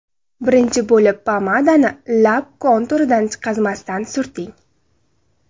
Birinchi bo‘lib pomadani lab konturidan chiqazmasdan surting.